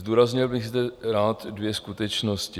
Zdůraznil bych zde rád dvě skutečnosti.